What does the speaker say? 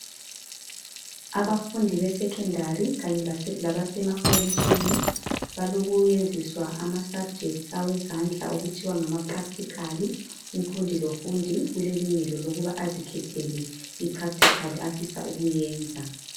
Abafundi besecondary kanye labasemakolitshini balokwenziswa izifundo zezandla okuthiwa ngamaPractical. Umfundi lomfundi ulelungelo lokuba azikhethele impractical afuna ukuyenza.